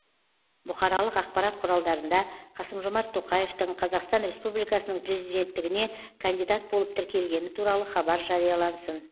бұқаралық ақпарат құралдарында қасым жомарт тоқаевтың қазақстан республикасының президенттігіне кандидат болып тіркелгені туралы хабар жариялансын